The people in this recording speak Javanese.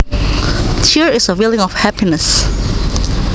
Cheer is a feeling of happiness